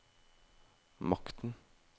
makten